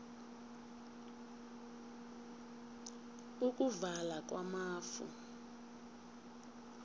ukuvala kwamafu